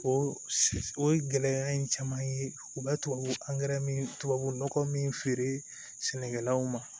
O o ye gɛlɛya in caman ye u bɛ tubabu angɛrɛ min to min feere sɛnɛkɛlaw ma